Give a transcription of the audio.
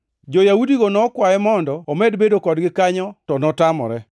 Jo-Yahudigo nokwaye mondo omed bedo kodgi kanyo to notamore.